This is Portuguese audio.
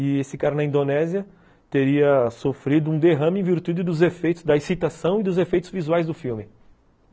E esse cara na Indonésia teria sofrido um derrame em virtude dos efeitos, da excitação e dos efeitos visuais do filme.